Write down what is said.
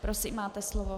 Prosím, máte slovo.